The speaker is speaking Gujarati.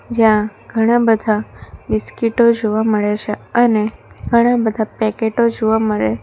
જ્યાં ઘણા બધા બિસ્કીટો જોવા મળે છે અને ઘણા બધા પેકેટો જોવા મળે--